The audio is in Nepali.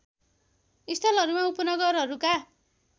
स्थलहरूमा उपनगरहरूका